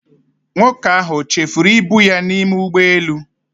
Nwoke ahụ o chefuru ibu ya n'ime ụgbọelu?